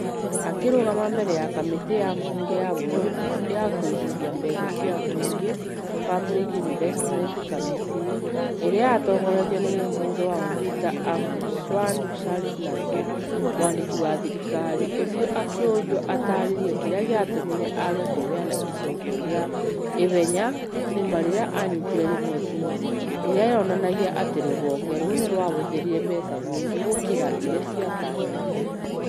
Akĩrugama mbere ya kamĩtĩ ya mbunge ya bũrũri ya kũigithia mbeca cia mũingĩ (public investments committee), ĩrĩa yatongoretio nĩ mũmbunge wa Mvita Abdulswamad Shariff Nassir, mwandĩki wa thirikari ũcio akĩũrio ataarĩirie kĩrĩa gĩatũmire aage kũheana icokio rĩa ihenya kuuma rĩrĩa aanyitire riboti ĩyo, ĩrĩa yonanagia atĩ rũhonge rũu nĩ rwahũthĩrĩte mbeca nyingĩ gũkĩra ĩrĩa ciatanyĩtwo.